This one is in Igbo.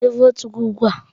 Gaa tụnye votu gị ugbu a!